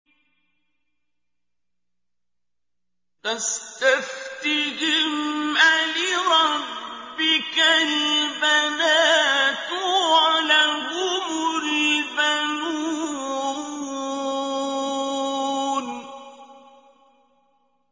فَاسْتَفْتِهِمْ أَلِرَبِّكَ الْبَنَاتُ وَلَهُمُ الْبَنُونَ